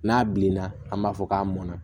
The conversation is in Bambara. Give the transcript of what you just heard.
N'a bilenna an b'a fɔ k'a mɔnna